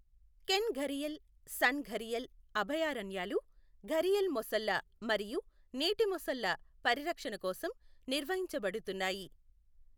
Can gharial, Son gharial అభయారణ్యాలు ఘరియల్ మొసళ్ళ మరియు నీటి మొసళ్ళ పరిరక్షణ కోసం నిర్వహించబడుతున్నాయి.